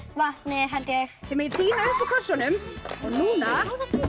vatni held ég þið megið tína upp úr kössunum og núna